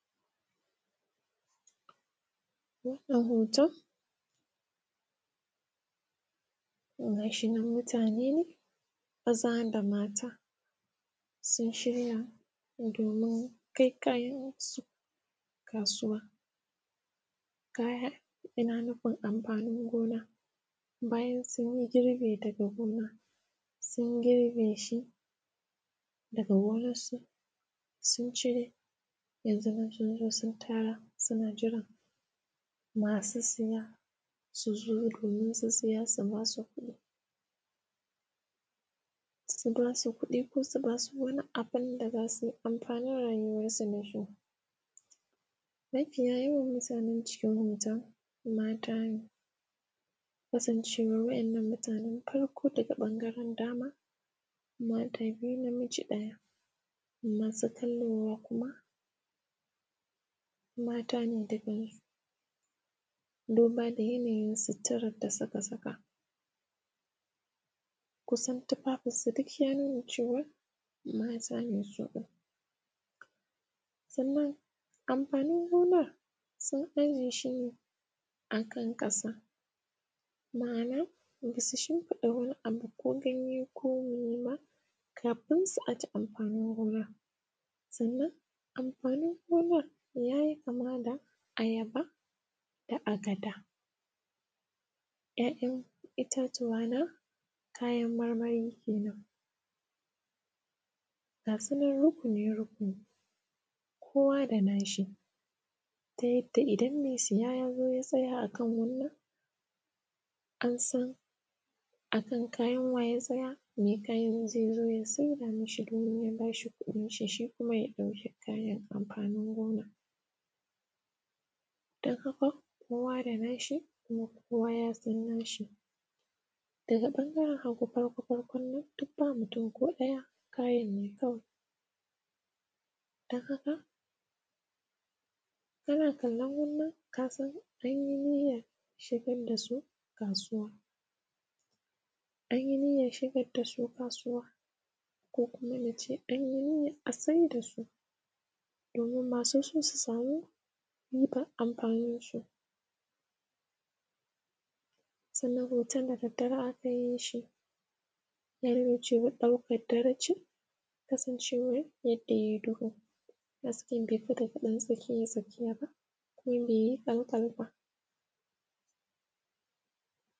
Wannan hoton, Gashi nan mutane nemaza da mata sun shirya domin kai kaya kayan su kasuwa, kaya ina nufin anfanin gona bayan sun girbe daga gona, sun girbe shi daga gonan su sun cire yanzu sunzo sun tara suna jiran masu siya suzo domin su siya su basu kudi su basu kudi ko su basu wani abun da zasuyi anfanin rayuwan su dashi, mafiya yawan mutanen cikin hoton mata ne kasan cewan wannan mutanen farko daga ban garen dama, mata biyu na miji daya, masu kallowa kuma matane duba da yana yin suturan da suka saka kusan tufafin su duk ya nuna cewa matne su din anfanin gonan sun aje shine a kan kasa, ma'ana basu shin fida wani abu ko ganye ko mene ba kafin su aje anfanin gonan, sannan anfanin gonan yayi kama da ayaba da agada kayan itatuwa na marmari kenan gasu nan rukuni rukuni kowa da nashi ta yadda idan me siya yazo ya tsaya akan wannan ansan akan kayan wa ya tsaya, me kayan zaizo ya saida mishi domin ya bashi kudin shi, shi kuma ya dau kayan anfanin gonan. kowa da nashi kuma kowa yasan nashi, daga bangaren hagu farko farkon nan duk ba mutun ko daya kayan ne kawai dan haka kana kallon wannan kasan anyi niyar shigar da su kasuwa anyi niyar shigar dasu kasuwa ko kuma nace anyi niyar a saida su domin masu su su sami riban anfanin gona sannan hoton da daddare akayi shi daukar dare ce kasan cewa yanda yayi duhu hasken be wuce daga dan tsakiya tsakiya ba kuma baiyi kal kal ba.